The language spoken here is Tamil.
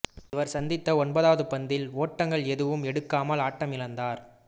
இவர் சந்தித்த ஒன்பதாவது பந்தில் ஓட்டங்கள் எதுவும் எடுக்காமல் ஆட்டமிழந்தார்